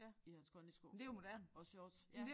I hans kondisko og shorts